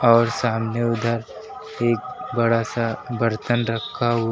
और सामने उधर एक बड़ा सा बर्तन रखा हुआ--